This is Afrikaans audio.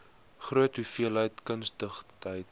groot hoeveelheid kundigheid